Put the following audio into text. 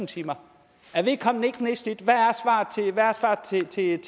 timer er vedkommende ikke nedslidt hvad